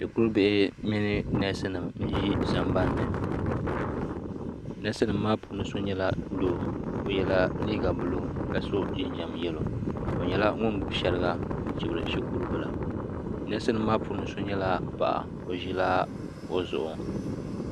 Shikuru bihi mini nɛsi nima n zi sambani ni nɛsi nima maa puuni so nyɛla doo o yela liiga buluu ka so jinjam yɛlo o nyɛla ŋuni gbubi shɛriga n chibiri shikuru bila nɛsi nima maa puuni so nyɛla paɣa o zila kuɣu zuɣu.